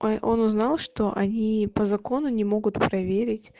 ой он узнал что они по закону не могут проверить